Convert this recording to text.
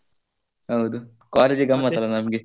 ಹೌದು college ಗಮ್ಮತ್ ಅಲ್ಲ ನಮ್ಗೆ.